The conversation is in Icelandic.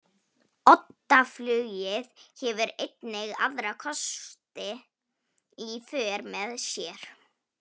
Oddaflugið hefur einnig aðra kosti í för með sér.